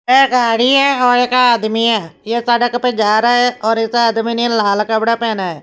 एक गाड़ी है और एक आदमी है यह सड़क पे जा रहा है और इस आदमी ने लाल कपड़ा पहना है।